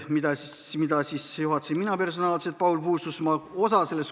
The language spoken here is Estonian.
Istungit juhatasin personaalselt mina, Paul Puustusmaa.